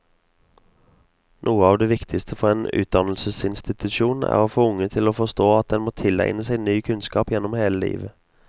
Noe av det viktigste for en utdannelsesinstitusjon er å få unge til å forstå at en må tilegne seg ny kunnskap gjennom hele livet.